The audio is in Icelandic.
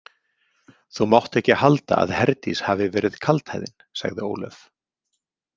Þú mátt ekki halda að Herdís hafi verið kaldhæðin, sagði Ólöf.